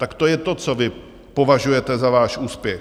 Tak to je to, co vy považujete za váš úspěch.